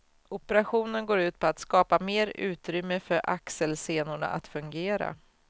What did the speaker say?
Operationen går ut på att skapa mer utrymme för axelsenorna att fungera.